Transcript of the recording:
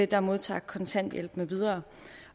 der modtager kontanthjælp med videre